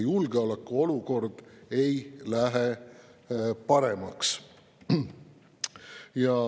Julgeolekuolukord ei lähe paremaks.